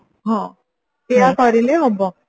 ହଁ ସେଇଆ କରିଲେ ହବ